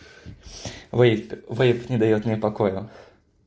вейп вейп не даёт мне покоя